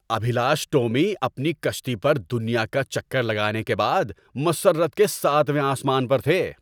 ابھیلاش ٹومی اپنی کَشتی پر دنیا کا چکر لگانے کے بعد مسرت کے ساتویں آسمان پر تھے۔